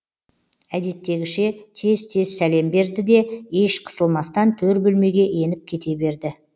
әдеттегіше тез тез сәлем берді де еш қысылмастан төр бөлмеге еніп кете берді